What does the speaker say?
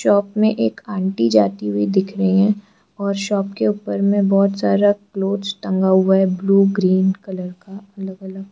Shop में एक aunty जाती हुई दिख रही है और शॉप के ऊपर में बहुत सारा क्लॉथस टंगा हुआ है ब्लू ग्रीन कलर का अलग अलग।